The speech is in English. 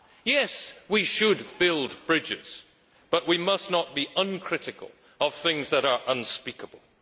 Yes, we should build bridges, but we must not be uncritical of things that are unspeakable.